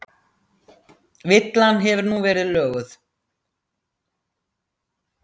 Villan hefur nú verið löguð